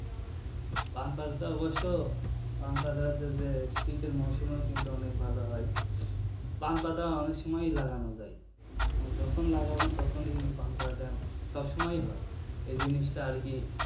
পান পাতাটা অবশ্য পান পাতাটা যে শীতের মরশুমেও কিন্তু অনেক ভালো হয় পান পাতা অনেক সময়ই লাগানো যায় মানে যখন লাগাবেন তখনই কিন্তু পান পাতাটা সবসময়ই হয় এই জিনিসটা আরকি,